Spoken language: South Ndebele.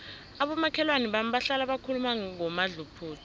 abomakhelwana bami bahlala bakhuluma ngomadluphuthu